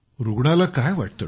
रुग्णाला काय वाटते